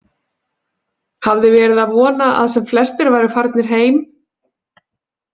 Hafði verið að vona að sem flestir væru farnir heim.